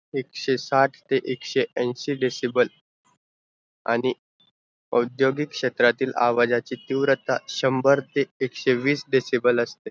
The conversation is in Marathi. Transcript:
एकशे साट ते एकशे ऐंशी decible आण औद्योगिक क्षेत्रातील आवाजाची तीव्रता शंभर ते एकशेविस decible असते